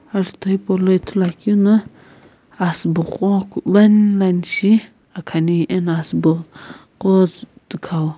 azutho hipou lo ithulu akeuna asii bo gho line line shi akhane ano asii bo gho tokhoa.